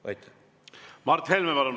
Mart Helme, palun!